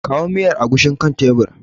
Kawo miyar agushin kan tebir.